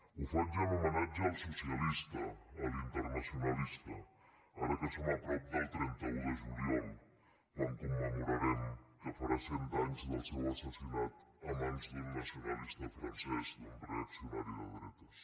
ho faig en homenatge al socialista a l’internacionalista ara que som a prop del trenta un de juliol quan commemorarem que farà cent anys del seu assassinat a mans d’un nacionalista francès d’un reaccionari de dretes